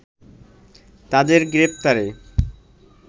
তাদের গ্রেফতারে